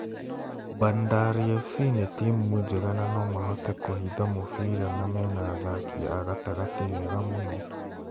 Bandari FC nĩ timũ njega na nomahote kũhitha mũbira na mena athaki agatagatĩ ega mũno